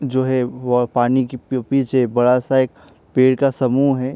जो है वो पानी की पीछे बड़ा सा एक पेड़ का एक समूह है।